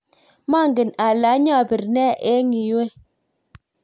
manget ale anyabir ne eng' yue